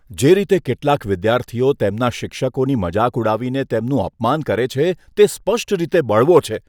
જે રીતે કેટલાક વિદ્યાર્થીઓ તેમના શિક્ષકોની મજાક ઉડાવીને તેમનું અપમાન કરે છે, તે સ્પષ્ટ રીતે બળવો છે.